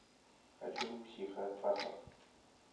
хочу психопаспорт